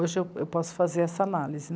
Hoje eu, eu posso fazer essa análise.